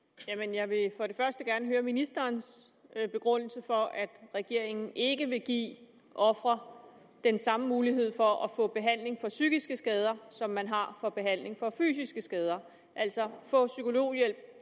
jeg vil først gerne høre ministerens begrundelse for at regeringen ikke vil give ofre den samme mulighed for at få behandling for psykiske skader som man har for behandling af fysiske skader altså få psykologhjælp